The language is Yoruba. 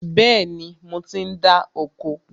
Bẹ́ẹ̀ni, mo ti ń dá oko